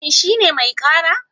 Shin shi ne mai ƙara?